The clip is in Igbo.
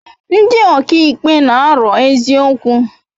Ndi ọka ikpe n'aro eziokwu